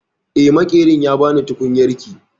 Eh, Maƙerin ya ba ni tukunyarki